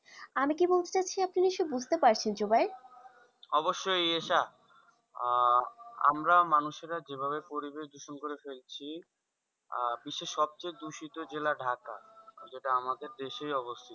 আমি কি বলতে চাইছি আপনি নিশ্চই বুঝতে পড়ছেন জুবাই? অবশ্যই এটা আহ আমরা মানুষেরা যে ভাবে পরিবেশ দূষণ করে ফেলছি আহ বিশ্বের সবচেয়ে দূষিত জেলা ঢাকা যেটা আমাদের দেশেই অবস্থিত,